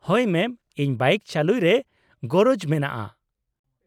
-ᱦᱳᱭ ᱢᱮᱢ , ᱤᱧ ᱵᱟᱭᱤᱠ ᱪᱟᱹᱞᱩᱭ ᱨᱮ ᱜᱚᱨᱚᱡᱽ ᱢᱮᱱᱟᱜᱼᱟ ᱾